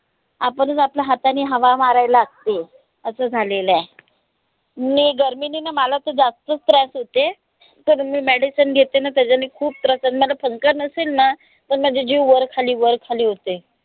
आपणच आपल्या हातानी हवा मारावी लागते. असं झालेलय नी गर्मीनीन मला त जास्तीच त्रास होते तर मी medicine घेते न त्याच्यांनी खूप जर पंखा नसेल ना त माझा जीव वरखाली वरखाली होते.